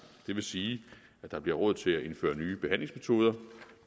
det vil sige at der bliver råd til at indføre nye behandlingsmetoder